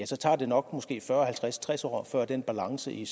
så tager det nok måske fyrre halvtreds eller tres år før den balance i